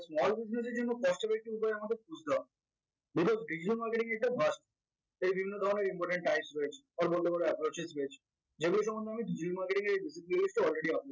small business এর জন্য cost effective আমাদের যদিও digital marketing এ এটা must বিভিন্ন ধরনের important types রয়েছে or বলতে পারো approaches রয়েছে যেগুলো সম্বন্ধে আমি digital marketing এর already